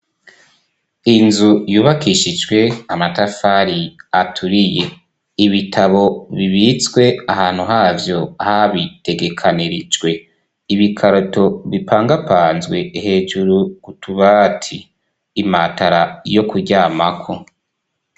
Inzu yubakishijwe amatafari aturiye ibitabo bibitswe ahantu havyo habitegekanirijwe ibikaroto bipangapanzwe hejuru kutubati imatara yo kuryamako.